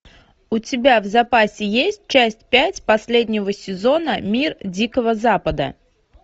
у тебя в запасе есть часть пять последнего сезона мир дикого запада